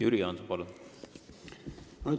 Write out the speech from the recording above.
Jüri Jaanson, palun!